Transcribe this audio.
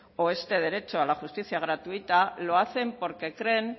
o este derecho a la justicia gratuita lo hacen porque creen